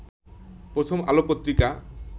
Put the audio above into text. প্রথম আলো পত্রিকা